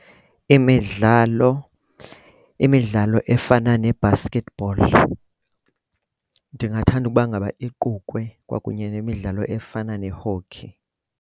Imidlalo, imidlalo efana ne-basketball ndingathanda ukuba ngaba iqukwe kwakunye nemidlalo efana ne-hockey.